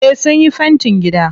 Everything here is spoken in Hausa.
Eh sunyi fentin gida.